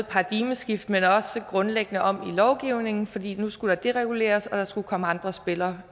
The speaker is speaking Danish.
paradigmeskifte men også grundlæggende om i lovgivningen fordi der nu skulle dereguleres og der skulle komme andre spillere